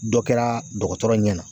Dɔ kɛra dɔgɔtɔrɔ ɲɛna.